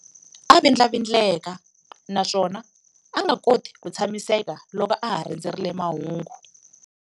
A vindlavindleka naswona a nga koti ku tshamiseka loko a ha rindzerile mahungu.